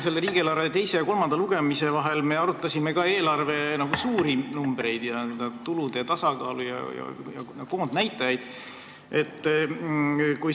Selle riigieelarve eelnõu teise ja kolmanda lugemise vahel me arutasime ka eelarve suuri numbreid: tulude tasakaalu ja koondnäitajaid.